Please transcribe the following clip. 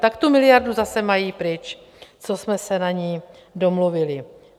Ta tu miliardu zase mají pryč, co jsme se na ní domluvili.